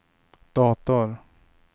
dator